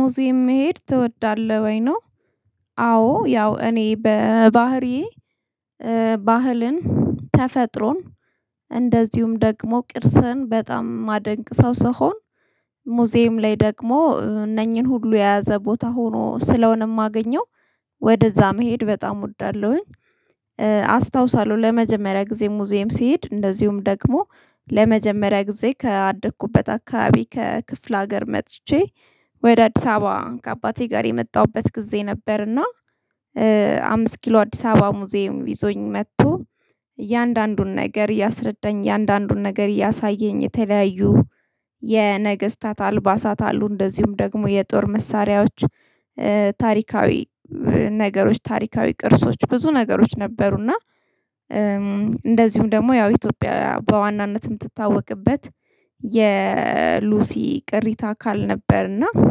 ሙዚም መሄድ ትወዳለህ ወይ ነው? አዎ ያው እኔ በባህሪዬ ባህልን ተፈጥሮን እንደዚሁም ደግሞ ቅርስን በጣም ማደንቅ ሰው ስሆን ሙዚየም ላይ ደግሞ እነኚህን ሁሉ የያዘ ቦታ ሆኖ ስለሆነ የማገኘው ወደዛ መሄድ በጣም እወዳለሁኝ። አስታውሳለሁ ለመጀመሪያ ጊዜ ሙዚየም ሲሄድ እንደዚሁም ደግሞ ለመጀመሪያ ጊዜ ከአደኩበት አካባቢ ከክፍለ ሀገር መጥቼ ወደ አዲስ አበባ ከአባቴ ጋር የመጣሁበት ጊዜ ነበር። እና አምስት ኪሎ አዲስ አበባ ሙዚየም ይዞኝ መጥቶ እያንዳንዱን ነገር እያስረዳኝ እያንዳንዱን ነገር እያሳየኝ የተለያዩ የነገስታት አልባሳት አሉ። እንደዚሁም ደግሞ የጦር መሳሪያዎች ታሪካዊ ነገሮች ታሪካዊ ቅርሶች ብዙ ነገሮች ነበሩና። እንደዚሁ ደግሞ ያው ኢትዮጵያ በዋናነት የምትታወቅበት የሉሲ ቅሪታ አካል ነበርና እና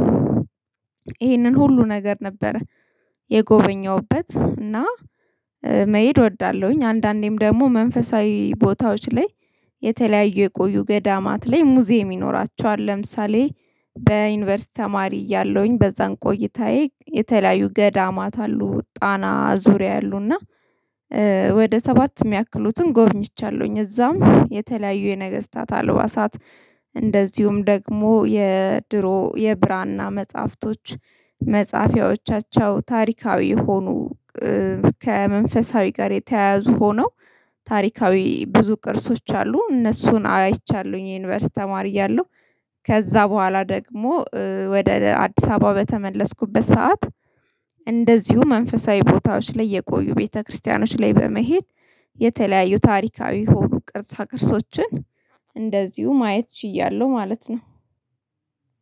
ይሄንን ሁሉ ነገር ነበረ። የጎበኘሁበት እና መሄድ እወዳለሁኝ። አንዳንዴም ደግሞ መንፈሳዊ ቦታዎች ላይ የተለያዩ የቆዩ ገዳማት ላይ ሙዚየም ይኖራቸዋል ለምሳሌ በዩኒቨርሲቲ ተማሪ እያለሁኝ በዛን ቆይታዬ የተለያዩ ገዳማት አሉ ጣና ዙሪያ አሉና ወደ ሰባት የሚያክሉትን ጎብኝቻለሁኝ። እዛም የተለያዩ የነገስታት አልባሳት እንደዚሁም ደግሞ የድሮ የብራና መጽሐፍቶች መጽሐፊያዎቻቸው ታሪካዊ የሆኑ ከመንፈሳዊ ጋር የተያያዙ ሆነው ታሪካዊ ብዙ ቅርሶች አሉ እነሱን አይቻለሁኝ። የዩኒቨርሲቲ ተማሪ ያለው ከዛ በኋላ ደግሞ ወደ አዲስ አበባ በተመለስኩበት ሰዓት እንደዚሁ መንፈሳዊ ቦታዎች ላይ የቆዩ ቤተክርስቲያኖች ላይ በመሄድ የተለያዩ ታሪካዊ የሆኑ ቅርጻ ቅርጾችን እንደዚሁ ማየት ችያለሁ። ማለት ነው።